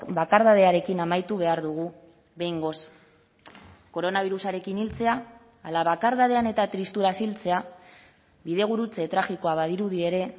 bakardadearekin amaitu behar dugu behingoz koronabirusarekin hiltzea ala bakardadean eta tristuraz hiltzea bidegurutze tragikoa badirudi ere